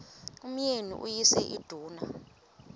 umyeni uyise iduna